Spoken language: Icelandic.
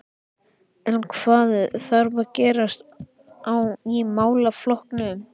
En hvað þarf að gerast í málaflokknum?